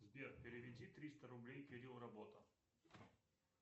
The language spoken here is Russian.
сбер переведи триста рублей кирилл работа